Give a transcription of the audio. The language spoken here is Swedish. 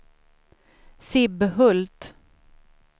Sibbhult